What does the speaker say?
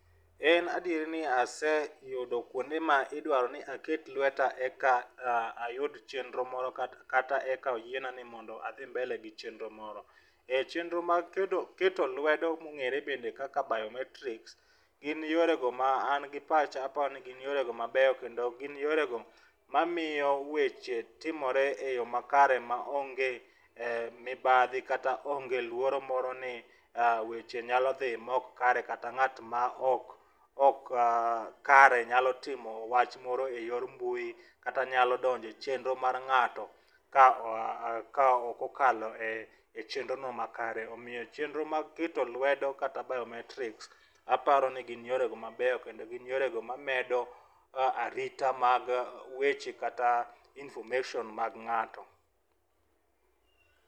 En Adier ni aseyudo kuonde ma idwaro ni aket lweta eka ayud chenro moro kata kata eka oyiena ni mondo adhi mbele gi chenro moro. Chenro mag kedo keto lwedo mong'ere bende kaka biometrics gin yore go ma gi pacha aparo ni gin yore go mamiyo weche timore e yoo makare ma onge mibadhi kata onge luoro moro ni weche nyalo dhi ma ok kare, kata ng'at ma ok ok kare nyalo timo wach moro e yor mbui ,kata nyalo donje chenro mar ng'ato ka ka okokale chenro no makare .Omiyo chenro mag keto lwedo kata biometrics aparo ni gin yore go mabeyo kendo gin yorego mamedo arita mag weche kata information mag ng'ato.